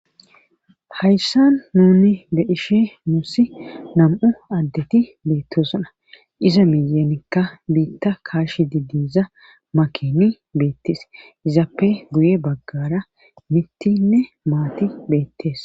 Hayssan nuni be ishe muusi nam7u addeti beettosana iza miyenikka biitta kaash diddiza makini beettees izaappe guye baggara mittinne maati beettees